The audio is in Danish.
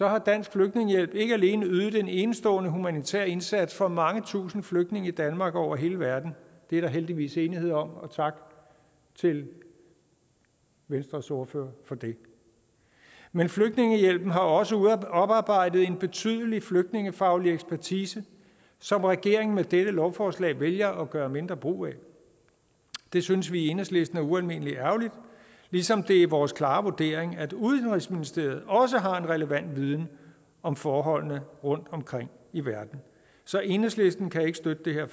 har dansk flygtningehjælp ikke alene ydet en enestående humanitær indsats for mange tusinde flygtninge i danmark og over hele verden det er der heldigvis enighed om og tak til venstres ordfører for det men flygtningehjælpen har også oparbejdet en betydelig flygtningefaglig ekspertise som regeringen med dette lovforslag vælger at gøre mindre brug af det synes vi i enhedslisten er ualmindelig ærgerligt ligesom det er vores klare vurdering at udenrigsministeriet også har en relevant viden om forholdene rundtomkring i verden så enhedslisten kan ikke støtte det her